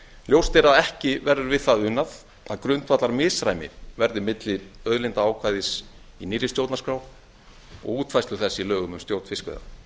ljóst er að ekki verður við það unað að grundvallarmisræmi verði milli auðlindaákvæðis í nýrri stjórnarskrá og útfærslu þess í lögum um stjórn fiskveiða